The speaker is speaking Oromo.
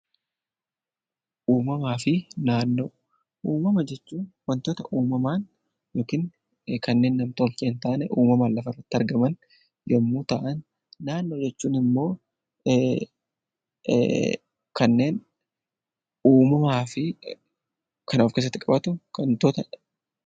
Uumamaa fi naannoo Uumama jechuun waantota uumamaan yookiin kanneen nam-tolcheen ta'anii lafa irratti argaman yemmuu ta'an, naannoo jechuun immoo kanneen uumamaa fi kan of keessatti qabatu waantota.